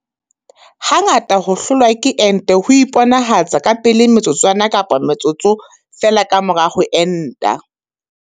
Ha ngata ho hlolwa ke ente ho iponahatsa ka pele metsotswana kapa metsotso feela ka mora ho enta.